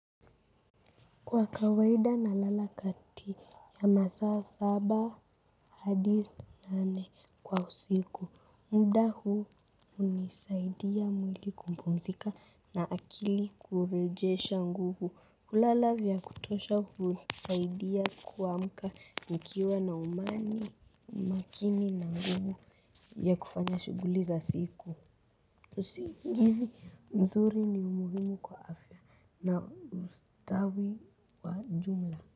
Kwa kawaida na lala kati ya masaa saba hadi nane kwa usiku. Mda huu hunisaidia mwili kumpumzika na akili kurejesha nguvu. Kulala vya kutosha h unisaidia kuamka mkiwa na umani makini na nguvu ya kufanya shuguli za siku. Usingizi nzuri ni umuhimu kwa afya na ustawi wa jumla.